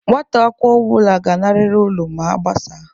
Nwata akwụkwọ ọbụla ga nariri ụlọ ma agbasa!